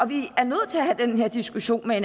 vi er nødt til at have den her diskussion med